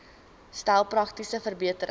stel praktiese verbeterings